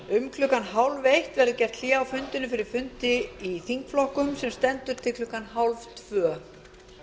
um klukkan hálfeitt verður gert hlé á fundinum fyrir fundi í þingflokkum sem stendur til klukkan hálftvö